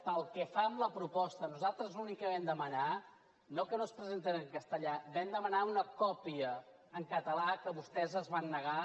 pel que fa a la proposta nosaltres l’únic que vam demanar no que no es presentés en castellà vam demanar una còpia en català que vostès es van negar